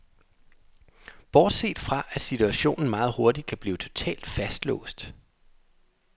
Bortset fra, at situationen meget hurtigt kan blive totalt fastlåst.